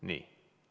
Nii.